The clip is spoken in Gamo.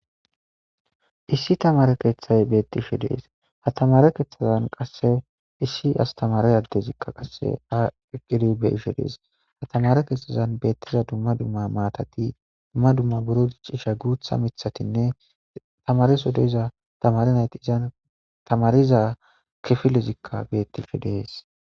issi tamare keeththay beettishe dees ha tamare keetthazan qasse issi astamare addezikka qasse aqidibe ishe dees ha tamare keetthazan beettiza dumma dumma maatati dumma dumma buro diccisha guutha mithatinne tamareso deyza tamari nayti isan tamariza kifilezikka bettishe dees